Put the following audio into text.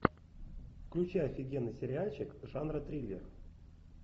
включай офигенный сериальчик жанра триллер